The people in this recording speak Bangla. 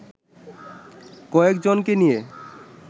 কয়েকজনকে নিয়ে